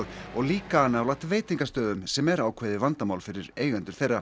og líka nálægt veitingastöðum sem er ákveðið vandamál fyrir eigendur þeirra